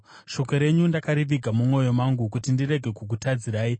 Shoko renyu ndakariviga mumwoyo mangu, kuti ndirege kukutadzirai.